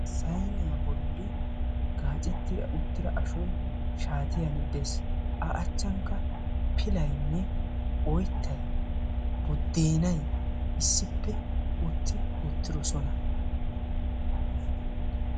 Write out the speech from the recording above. Sayniya bolli gaacetti uttida ashoyi shaatiyan de'es. A achchaanikka pilaynne oyttayi buddeenay issippe utti uttidosona.